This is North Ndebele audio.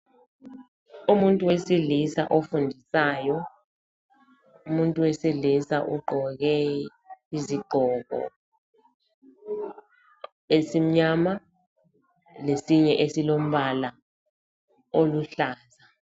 Umuntu wesilisa ofundisayo. Umuntu wesilisa ugqoke izigqoko esimnyama lesinye esilombala oluhlaza.